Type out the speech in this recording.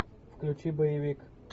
включи боевик